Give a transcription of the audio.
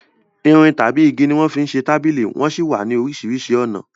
Igi tàbí irin ni wọ́n fi ń ṣe tábìlì wón sì wà ní oríṣiríṣi ọ̀nà